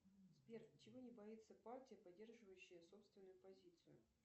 сбер чего не боится партия поддерживающая собственную позицию